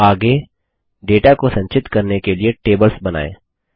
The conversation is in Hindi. आगे डेटा को संचित करने के लिए टेबल्स बनाएँ